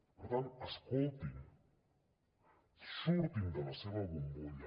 per tant escoltin surtin de la seva bombolla